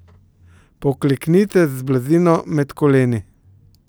Pokleknite z blazino med koleni.